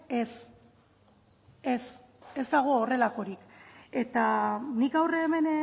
ez ez ez dago horrelakorik eta nik gaur hemen